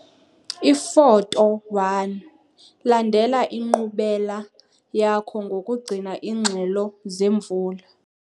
Ifoto 1- Landela inkqubela yakho ngokugcina iingxelo zemvula.